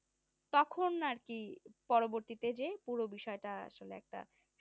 তখন আর কি পরবর্তীতে যে পুরো বিষয়তা আসলে একটা